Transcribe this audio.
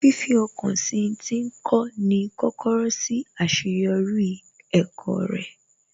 Fifi ọkàn sí ń tí ń kọ́ ni kọ́kọ́rọ́ sí àṣeyọrí ẹ̀kọ́ rẹ̀